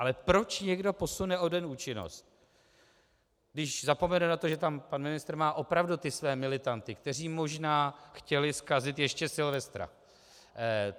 Ale proč někdo posune o den účinnost, když zapomene na to, že tam pan ministr má opravdu ty své militanty, kteří možná chtěli zkazit ještě Silvestra?